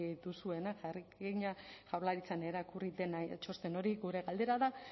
duzuela jakina jaurlaritzan irakurri dena txosten hori gure galdera da